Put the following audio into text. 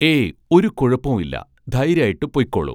ഏയ് ഒരു കുഴപ്പോം ഇല്ല ധൈര്യായിട്ട് പൊയ്ക്കോളൂ